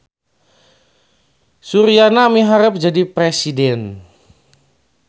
Suryana miharep jadi presiden